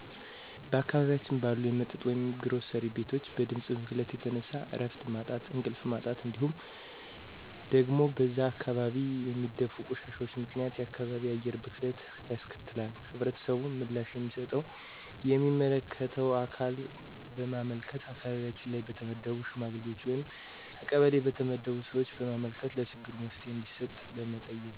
በአካባቢያችን ባሉ የመጠጥ ወይም የግሮሰሪ ቤቶች በድምጽ ብክለት የተነሳ እረፍት ማጣት እንቅልፍ ማጣት እንዲሁም ደግሞ በዛ አካባቢ በሚደፉ ቆሻሻዎች ምክንያት የአካባቢ አየር ብክለት ያስከትላል። ህብረተሰቡ ምላሽ የሚሰጠው ለሚመለከተው አካል በማመልከት አካባቢያችን ላይ በተመደቡ ሽማግሌዎች ወይም ከቀበሌ በተመደቡ ሰዎች በማመልከት ለችግሩ መፍትሄ እንዲሰጥ በመጠየቅ